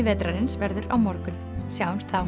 vetrarins verður á morgun sjáumst þá